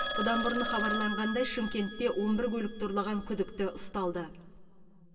бұдан бұрын хабарланғандай шымкентте он бір көлікті ұрлаған күдікті ұсталды